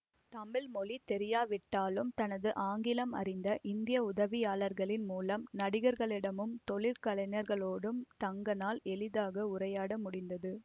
தமிழ் மொழி தெரியாவிட்டாலும் தனது ஆங்கிலம் அறிந்த இந்திய உதவியாளர்களின் மூலம் நடிகர்களிடமும் தொழிற்கலைஞர்களோடும் டங்கனால் எளிதாக உரையாட முடிந்தது